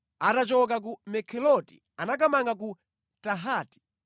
Atachoka ku Mekheloti anakamanga ku Tahati.